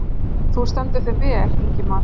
Þú stendur þig vel, Ingimar!